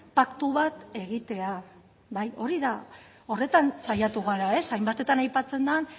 paktu bat egitea bai hori da horretan saiatu gara hainbatetan aipatzen den